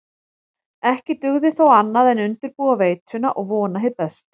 Ekki dugði þó annað en undirbúa veituna og vona hið besta.